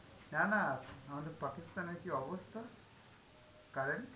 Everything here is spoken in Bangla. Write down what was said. না না, আমাদের Pakistan এর কি অবস্থা, current.